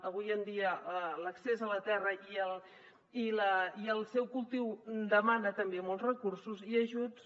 avui en dia l’accés a la terra i el seu cultiu demana també molts recursos i ajuts